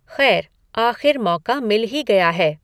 खैर, आख़िर मौका मिल ही गया है।